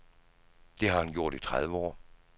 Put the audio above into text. Det har han gjort i tredive år.